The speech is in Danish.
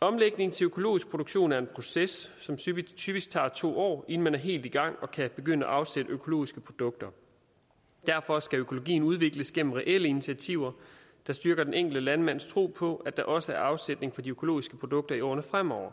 omlægning til økologisk produktion er en proces som typisk typisk tager to år inden man er helt i gang og kan begynde at afsætte økologiske produkter derfor skal økologien udvikles gennem reelle initiativer der styrker den enkelte landmands tro på at der også er afsætning for de økologiske produkter i årene fremover